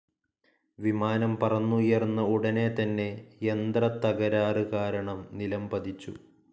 വിമാനം പറന്നുയർന്ന ഉടനെ തന്നെ യന്ത്രതതകരാറ് കാരണം നിലംപതിച്ചു.